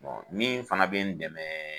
min fana bɛ n dɛmɛ